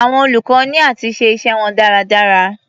Àwọn olùkọ́ ní áti ṣe iṣẹ́ wọn dáradára.